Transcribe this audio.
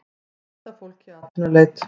mynd af fólki í atvinnuleit